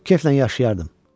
Keflə yaşayardım.